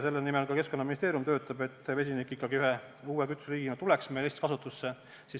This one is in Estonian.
Selle nimel Keskkonnaministeerium ka töötab, et vesinik ikkagi ühe uue kütuseliigina Eestis kasutusse tuleks.